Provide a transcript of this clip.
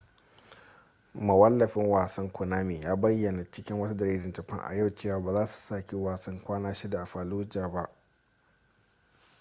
mawallafin wasan konami ya bayyana cikin wata jaridar japan a yau cewa ba za su saki wasan kwana shida a fallujah ba